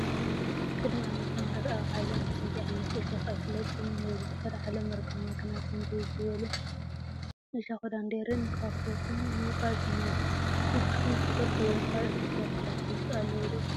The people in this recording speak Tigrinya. ቅድሚ ዓመተ ምህርት ኣብ ዓለም ከምዚ ዓይነት እሾክ ኣይፍለጥን ነይሩ ድሕሪ ዓለም ምርጋማ ግና ከምዚ ዝበሉ እሸክ ዳንዴርን ኳኩቶን ምብቋል ጀሚራ። ንስኩም እትፈልጥዎም ካልኦት እሾክ ኣትክልቲ ኣለው ዶ ?